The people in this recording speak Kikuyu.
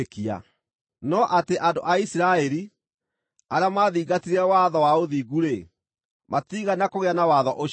no atĩ andũ a Isiraeli, arĩa maathingatire watho wa ũthingu-rĩ, matiigana kũgĩa na watho ũcio.